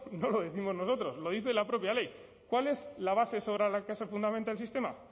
no lo décimos nosotros lo dice la propia ley cuál es la base sobre la que se fundamente el sistema